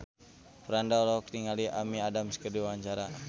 Franda olohok ningali Amy Adams keur diwawancara